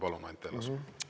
Palun, Anti Allas!